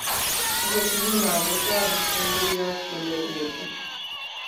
Akot nguno kotoku temburyot kole etu